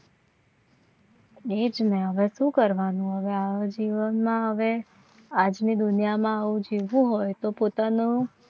હવે શું કરવાનું જીવનમાં હવે આજની દુનિયામાં આવું જીવવું હોય તો પોતાનો